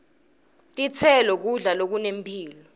titselo kudla lokunemphilo